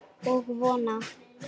Og vona.